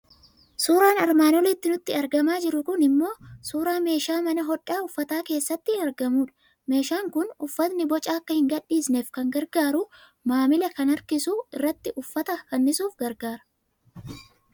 Suuraan armaan olitti nutti argamaa jiru kuni immoo suuraa meeshaa mana hodhaa uffata keessatti argamudha. Meeshaan kun uffatni boca akka hin gadhiisneef kan gargaaru, maamila kan harkisu, irratti uffata fannisuuf gargaara.